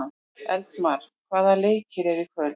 Eldmar, hvaða leikir eru í kvöld?